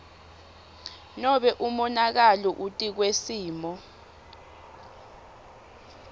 nobe umonakalo etikwesimo